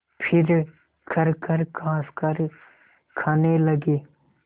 फिर खरखर खाँसकर खाने लगे